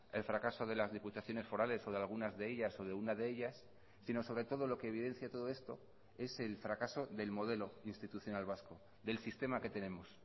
el fracaso de las diputaciones forales o de algunas de ellas o de una de ellas sino sobre todo lo que evidencia todo esto es el fracaso del modelo institucional vasco del sistema que tenemos